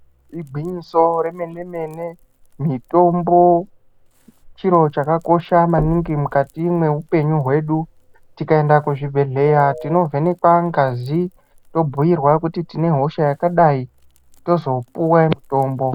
Igwinyiso remene mene, mitombo chiro chakakosha maningi mukati mweupenyu hwedu. Tikaenda kuzvibhedhleya tinovhenekwa ngazi, tobhuyirwa kuti tine hosha yakadai, tozopuwa mutombo.